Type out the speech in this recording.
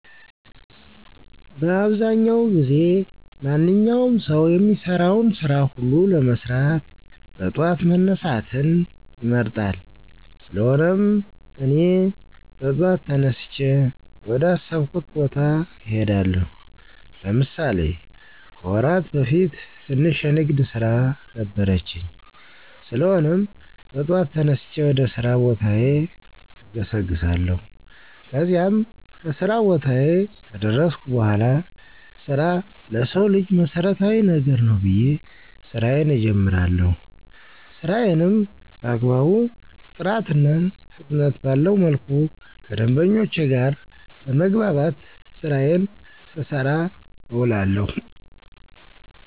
በአብዛዉ ጊዜ ማንኛዉም ሰዉ የሚሰራቸዉን ስራ ሁሉ ለመስራት በጠዋት መነሳትን ይመርጣል: ስለሆነም, እኔ በጠዋት ተነስቼ ወደ አሰብኩት ቦታ እሄዳለሁ። ለምሳሌ፦ ከወራት በፊት ትንሽ የንግድ ስራ ነበረችኝ? ስለሆነም, በጠዋት ተነስቼ ወደ ስራ ቦታዬ እገሰግሳለሁ። ከዚያም, ከስራ ቦታየ ከደረስኩ በኋላ ስራ ለሰዉ ልጅ መሰረታዊ ነገር ነዉ ብየ ስራየን እጀምራለሁ። ስራየንም በአግባቡ ጥራትና ፍጥነት ባለዉ መልኩ ከደንበኞቼ ጋር በመግባባት ስራየን ስሰራ እዉላለሁ።